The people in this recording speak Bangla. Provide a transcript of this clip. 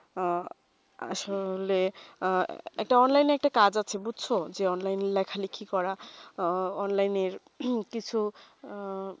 উহ আসলে একটা online এ একটা কাজ আছে বুঝছো যে online ই লেখা লিখি করা এর কিছু আহ